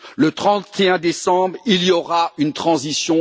Le 31 décembre, il y aura une transition.